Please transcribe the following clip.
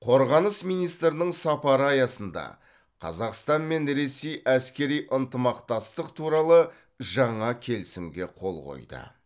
қорғаныс министрінің сапары аясында қазақстан мен ресей әскери ынтымақтастық туралы жаңа келісімге қол қойды